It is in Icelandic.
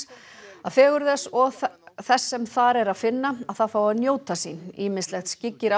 að fegurð þess og þess sem þar er að finna fái að njóta sín ýmislegt skyggir á